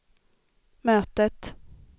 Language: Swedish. mötet